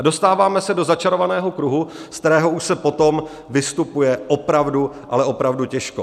A dostáváme se do začarovaného kruhu, ze kterého už se potom vystupuje opravdu, ale opravdu těžko.